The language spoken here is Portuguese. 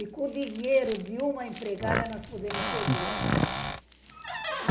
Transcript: E, com o dinheiro de uma empregada, nós podemos ter duas.